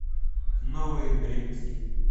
новые бременские